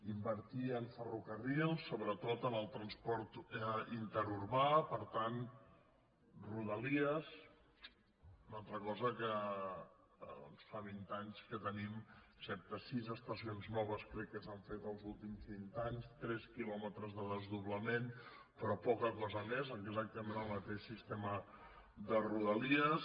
invertir en ferrocarrils sobretot en el transport interurbà per tant rodalies una altra cosa que fa vint anys que tenim sis estacions noves crec que s’han fet en els últims vint anys tres quilòmetres de desdoblament però poca cosa més exactament el mateix sistema de rodalies